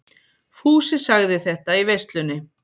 Fúsi sagði þetta í veislunni.